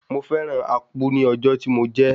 Mo fẹ́ràn Akpu ní ọjọ́ tí mo jẹ ẹ́.